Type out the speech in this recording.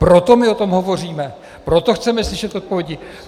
Proto my o tom hovoříme, proto chceme slyšet odpovědi.